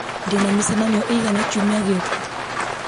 ndĩna mĩcemanio ĩigana kiumia gĩũku